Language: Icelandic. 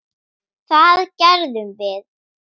Það gerðum við.